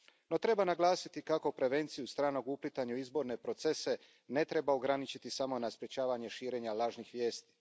No, treba naglasiti kako prevenciju stranog uplitanja u izborne procese ne treba ograničiti samo na sprečavanje širenja lažnih vijesti.